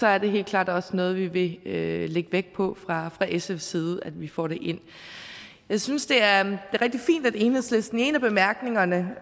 er det helt klart også noget vi vil lægge vægt på fra fra sfs side at vi får ind jeg synes det er rigtig fint at enhedslisten i bemærkningerne